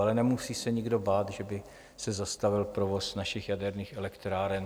Ale nemusí se nikdo bát, že by se zastavil provoz našich jaderných elektráren.